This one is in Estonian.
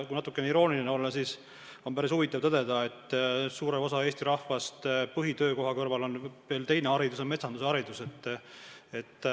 Kui natukene irooniline olla, siis on päris huvitav tõdeda, et suurel osal Eesti rahvast paistab olevat põhitöökoha kõrval veel teinegi haridus – metsandus.